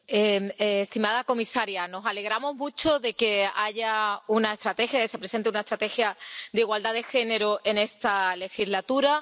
Señora presidenta, estimada comisaria, nos alegramos mucho de que haya una estrategia, de que se presente una estrategia de igualdad de género en esta legislatura